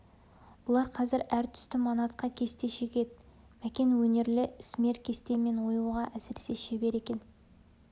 бұлар қазір әр түсті манатқа кесте шегеді мәкен өнерлі ісмер кесте мен оюға әсіресе шебер екен